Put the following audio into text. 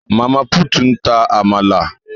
Mama put n ta àmàlà